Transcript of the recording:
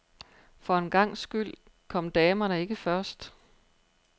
For en gangs skyld kom damerne ikke først.